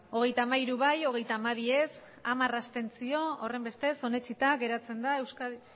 hogeita hamairu bai hogeita hamabi ez hamar abstentzio horrenbestez onetsita geratzen da